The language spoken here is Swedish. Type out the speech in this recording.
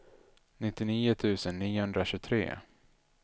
nittionio tusen niohundratjugotre